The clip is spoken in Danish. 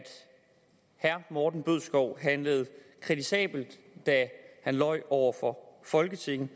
herre morten bødskov handlede kritisabelt da han løj over for folketinget